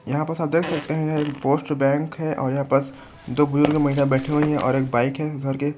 यहाँ पस आप देख सकते हैं एक पोस्ट बैंक है और यहाँ पस दो बुजुर्ग महिला बैठी हुई है और एक बाइक है। --